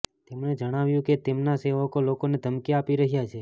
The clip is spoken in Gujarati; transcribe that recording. તેમણે જણાવ્યું કે તેમના સેવકો લોકોને ધમકી આપી રહ્યા છે